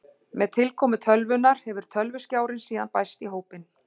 Með tilkomu tölvunnar hefur tölvuskjárinn síðan bæst í hópinn.